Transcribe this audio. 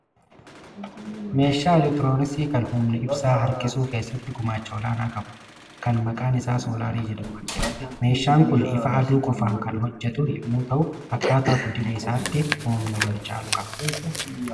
Meeshaa elektirooniksii kan humna ibsaa harkisuu keessatti gumaacha olaanaa qabu, kan maqaan isaa soolaarii jedhamu argina. Meeshaan kun ifa aduu qofaan kan hojjetu yommuu ta'u, akkaataa guddina isaatti humna wal caalu qaba.